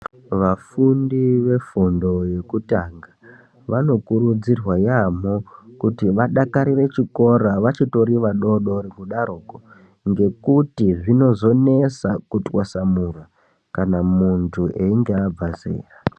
Vafundi vefundo yekutanga vanokurudzirwa yaamho, kuti vadakarire chikora vachitori vadodori kudaroko. Ngekuti zvinozonesa kutwasamura muntu einga abva zera.